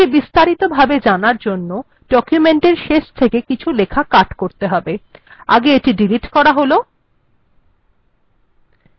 এটিকে আরো বিস্তারিত ভাবে দেখার জন্য ডকুমেন্ট্ এর শেষ থেকে কিছু লেখা কাট্ করে এখানে পেস্ট করতে হবে আগে এটিকে ডিলিট্ করা যাক